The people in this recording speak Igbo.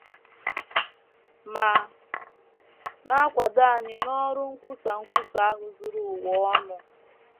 .. ma na - akwado anyị n’ọrụ nkwusa nkwusa ahụ zuru ụwa ọnụ